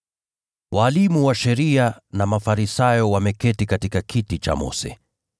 “Walimu wa sheria na Mafarisayo wameketi katika kiti cha Mose,